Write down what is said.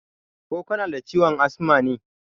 Ko kanada ciwon asma ne?